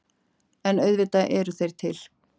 En auðvitað eru þeir til.